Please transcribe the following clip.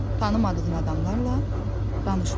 Tanımadığın adamlarla danışma.